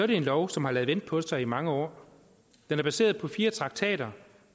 det en lov som har ladet vente på sig i mange år den er baseret på fire traktater